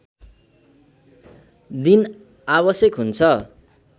दिन आवश्यक हुन्छ